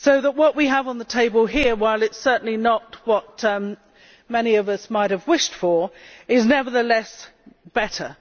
What we have on the table here, while it is certainly not what many of us might have wished for, is nevertheless better.